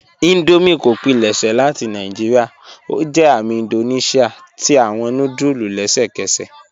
Indomie kò pílẹ̀ṣẹ́ láti Naijíríà; ó jẹ́ àmì Índóníṣíà tí awọn núdùlù lẹ́sẹkẹ́sẹ́.